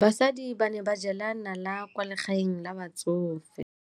Basadi ba ne ba jela nala kwaa legaeng la batsofe.